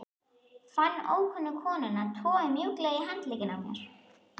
Fann ókunnu konuna toga mjúklega í handlegginn á mér